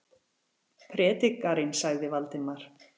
Prédikarinn sagði Valdimar.